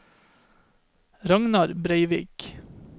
Ragnar Breivik